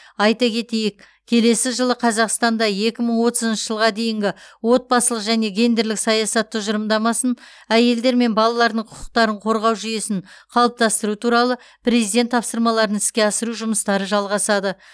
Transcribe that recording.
айта кетейік келесі жылы қазақстанда екі мың отызыншы жылға дейінгі отбасылық және гендерлік саясат тұжырымдамасын әйелдер мен балалардың құқықтарын қорғау жүйесін қалыптастыру туралы президент тапсырмаларын іске асыру жұмыстары жалғасады